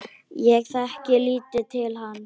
Ég þekkti lítið til hans.